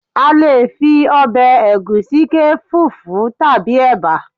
a lè fi obe egusi ke fufu tabi eba